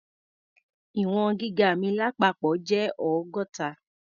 Ì̀wọ̀n gíga mi lápapọ̀ jẹ́ ọgọ́ta.